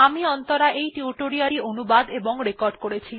আমি অন্তরা এই টিউটোরিয়াল টি অনুবাদ এবং রেকর্ড করেছি